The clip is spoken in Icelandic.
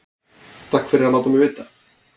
Takk fyrir að láta mig vita